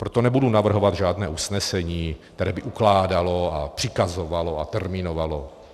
Proto nebudu navrhovat žádné usnesení, které by ukládalo a přikazovalo a termínovalo.